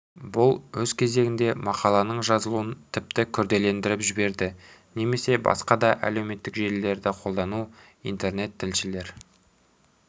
бұл өз кезегінде мақаланың жазылуын тіпті күрделендіріп жіберді немесе басқа да әлеуметтік желілерді қолдану интернет тілшілер